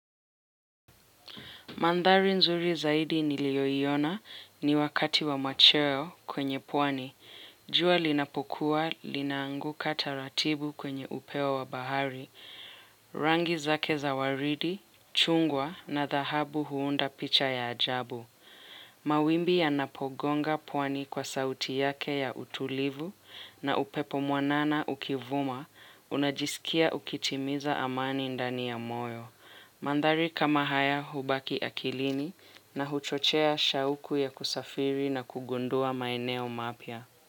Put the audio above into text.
Mandhari nzuri zaidi niliyoiona ni wakati wa machweo kwenye pwani. Jua linapokuwa linaanguka taratibu kwenye upeo wa bahari, rangi zake za waridi, chungwa na dhahabu huunda picha ya ajabu. Mawimbi ya Napogonga pwani kwa sauti yake ya utulivu na upepo mwanana ukivuma unajisikia ukitimiza amani ndani ya moyo. Mandhari kama haya hubaki akilini na huchochea shauku ya kusafiri na kugundua maeneo mapya.